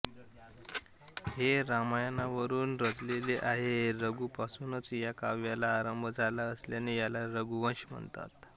हे रामायणावरुनच रचलेले आहे रघूपासूनच या काव्याला आरंभ झाला असल्याने याला रघूवंश म्हणतात